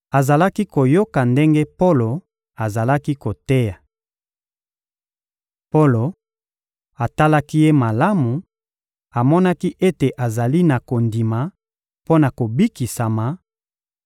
Azalaki koyoka ndenge Polo azalaki koteya. Polo atalaki ye malamu, amonaki ete azali na kondima mpo na kobikisama